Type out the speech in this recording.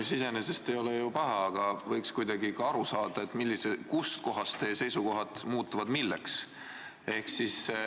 See iseenesest ei ole ju paha, aga võiks kuidagi aru saada, kus kohas teie seisukohad muutuvad ja milleks.